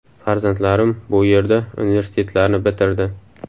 Farzandlarim bu yerda universitetlarni bitirdi.